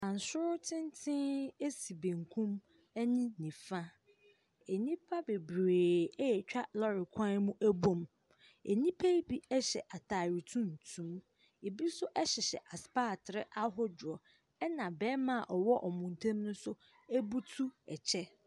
Abansoro tenten asi benkum ɛne nnifa. Nnipa bebree atwa lɔre kwan mu ɛbɔ mu. Nnipa yi bi hyɛ ataare tuntum ebi nso ɛhyehyɛ aspatre ahodoɔ. Ɛna bɛma a ɔwoɔ ɔmo ntam ne nso ebutu ɛkyɛ.